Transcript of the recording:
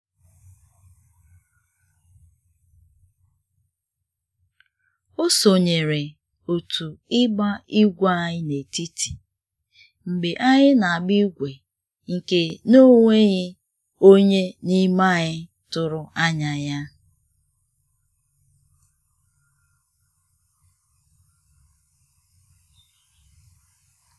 o sonyere otu ịgba igwe anyị n'etiti mgbe anyị n'agba igwe nke na enweghị onye n'ime anyị tụrụ anya ya